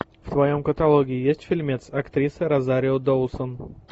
в твоем каталоге есть фильмец актриса розарио доусон